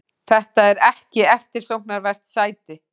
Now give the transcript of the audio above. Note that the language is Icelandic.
Þetta er ekki eftirsóknarvert sæti.